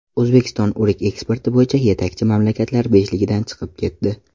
O‘zbekiston o‘rik eksporti bo‘yicha yetakchi mamlakatlar beshligidan chiqib ketdi.